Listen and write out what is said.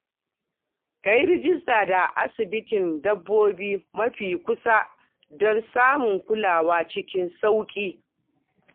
Ka yi rajista da asibitin dabbobi mafi kusa don samun kulawa cikin sauƙi.